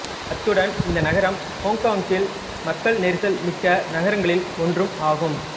அத்துடன் இந்த நகரம் ஹொங்கொங்கில் மக்கள் நெரிசல் மிக்க நகரங்களில் ஒன்றும் ஆகும்